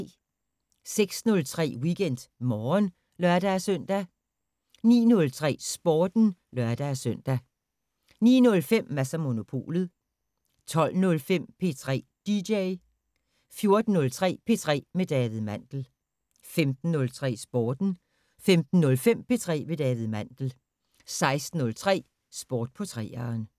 06:03: WeekendMorgen (lør-søn) 09:03: Sporten (lør-søn) 09:05: Mads & Monopolet 12:05: P3 DJ 14:03: P3 med David Mandel 15:03: Sporten 15:05: P3 med David Mandel 16:03: Sport på 3'eren